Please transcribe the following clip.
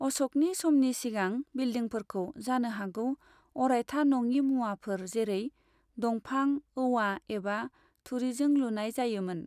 अश'कनि समनि सिगां, बिलडिंफोरखौ जानोहागौ अरायथा नङि मुवाफोर जेरै, दंफां, औवा, एबा थुरिजों लुनाय जायो मोन।